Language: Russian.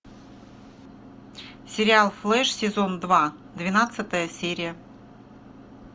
сериал флэш сезон два двенадцатая серия